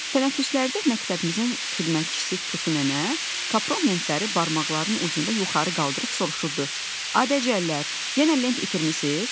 Tənəffüslərdə məktəbimizin xidmətçisi Tutu nənə kapron lentləri barmaqlarının ucunda yuxarı qaldırıb soruşurdu: "A dəcəllər, yenə lent itirmisiz?"